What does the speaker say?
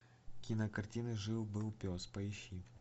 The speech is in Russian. кинокартина жил был пес поищи